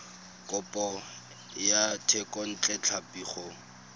kopo ya thekontle tlhapi go